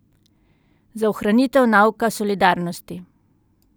Za ohranitev nauka solidarnosti!